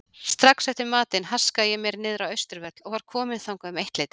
Strax eftir matinn haskaði ég mér niðrá Austurvöll og var kominn þangað um eittleytið.